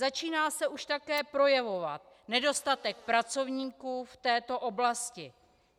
Začíná se už také projevovat nedostatek pracovníků v této oblasti.